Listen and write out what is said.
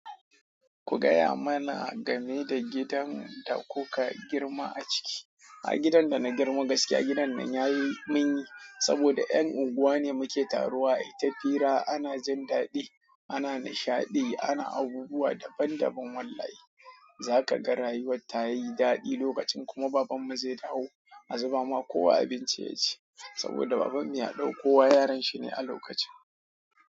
Ku gaya mana game da gidan da kuka girma a ciki. A gidan da na girma gaskiya gidan nan ya yi min saboda ’yan unguwa muke taruwa. Ai ta fira ana jin dadi ana nishadi ana abubuwa daban daban. Wallahi za ka ga rayuwar ta yi daɗi lokacin kuma babanmu zai dawo a zuba ma kowa abinci yaci saboda babanmu ya ɗauko wa yaran shi ne a lokacin.